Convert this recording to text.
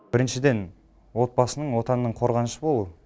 біріншіден отбасының отанның қорғанышы болу